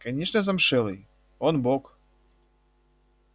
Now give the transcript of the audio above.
конечно замшелый он бог